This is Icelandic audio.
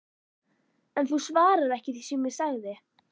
En þú svarar ekki því sem ég sagði